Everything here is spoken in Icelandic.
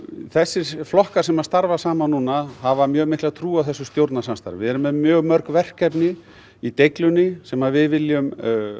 þessir flokkar sem að starfa saman núna hafa mjög mikla trú á þessu stjórnarsamstarfi við erum með mjög mörg verkefni í deiglunni sem við viljum